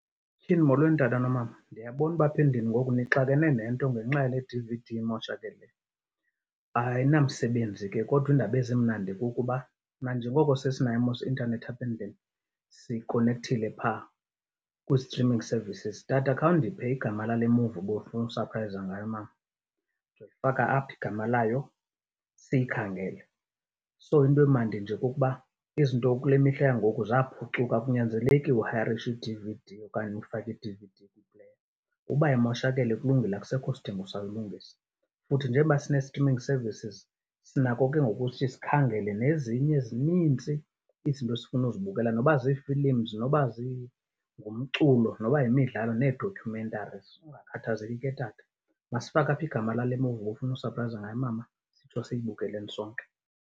Tyhini! Molweni, tata nomama. Ndiyabona uba apha endlini ngoku nixakene nento ngenxa yale D_V_D imoshakeleyo. Ayinamsebenzi ke kodwa iindaba ezimnandi kukuba nanjengoko sesinayo mos i-intanethi apha endlini, sikonekthile phaa kwi-streaming services. Tata, khawundiphe igama lale movie ubufuna usaphrayiza ngayo umama. Faka apha igama layo siyikhangele. So into emandi nje kukuba izinto kule mihla yangoku zaphucuka, akunyanzeleki uhayarishe i-D_V_D okanye ufake i-D_V_D . Uba imoshakele kulungile, akusekho sidingo sawuyilungisa. Futhi njengoba sinee-streaming services sinako ke ngoku ukuthi sikhangele nezinye ezinintsi izinto esifuna uzibukela noba zii-films, noba ngumculo, noba yimidlalo nee-documentaries. Ungakhathazeki ke, tata. Masifake apha igama lale movie ubufuna usaphrayiza ngayo umama sitsho siyibukeleni sonke.